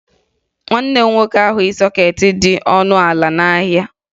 Nwanne m nwoke ahụghị sọkeetị dị ọnụ ala n'ahịa